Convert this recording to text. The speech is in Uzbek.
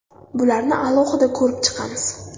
Bularni alohida ko‘rib chiqamiz.